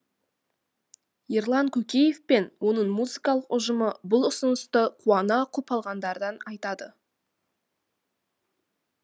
ерлан көкеев пен оның музыкалық ұжымы бұл ұсынысты қуана құп алғандарын айтады